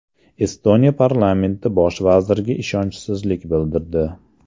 Estoniya parlamenti bosh vazirga ishonchsizlik bildirdi.